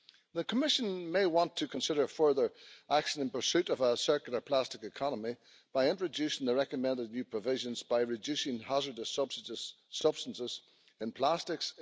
The Commission may want to consider further action in pursuit of a circular plastic economy by introducing the recommended new provisions reducing hazardous substances in plastics.